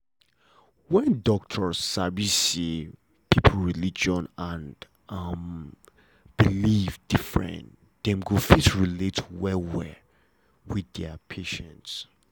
when doctors sabi say people religion and um belief different dem go fit relate well well with their patients